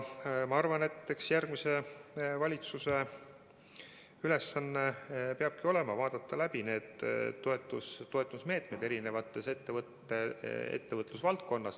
Ma arvan, et järgmise valitsuse ülesanne peabki olema vaadata läbi eri ettevõtlusvaldkondade toetusmeetmed.